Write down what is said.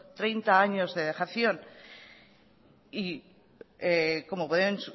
treinta años de dejación y como pueden